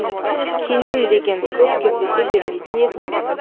кенен деген көп кездесе бермейтін есім